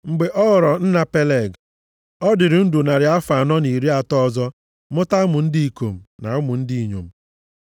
Mgbe ọ ghọrọ nna Peleg, ọ dịrị ndụ narị afọ anọ na iri atọ ọzọ mụta ụmụ ndị ikom na ụmụ ndị inyom.